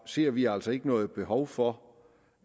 ser vi altså ikke noget behov for